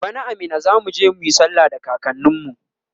bana a Minna zamuje muyi sallah da kakanin mu